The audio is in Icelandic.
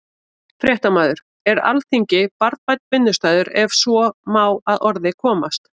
Fréttamaður: Er Alþingi barnvænn vinnustaður, ef svo má að orði komast?